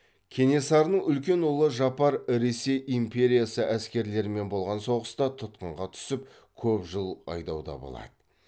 кенесарының үлкен ұлы жапар ресей империясы әскерлерімен болған соғыста тұтқынға түсіп көп жыл айдауда болады